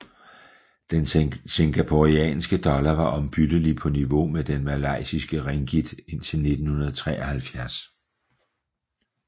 Den singaporeanske dollar var ombyttelige på niveau med den malaysiske ringgit indtil 1973